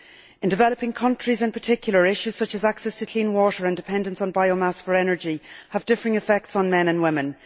In developing countries in particular, issues such as access to clean water and dependence on biomass for energy have differing effects on men and women.